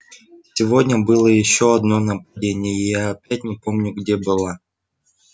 сегодня было ещё одно нападение и я опять не помню где была